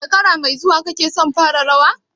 Shekara mai zuwa kake son fara rawa?